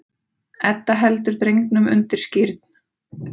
Edda heldur drengnum undir skírn.